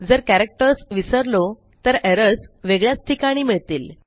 जर कॅरेक्टर्स विसरलो तर एरर्स वेगळ्याच ठिकाणी मिळतील